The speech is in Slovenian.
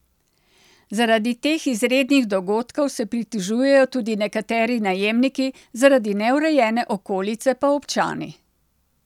Zaradi teh izrednih dogodkov se pritožujejo tudi nekateri najemniki, zaradi neurejene okolice pa občani.